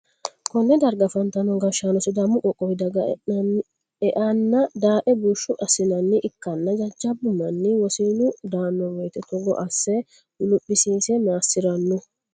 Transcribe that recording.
konne darga afantino gashshaano sidaamu qoqqowo dagge e'enna dae bushshu assi'nanniha ikkanna jajjabbu manni wosinu daanno woyte togo asse guluphisiise massi'ranno.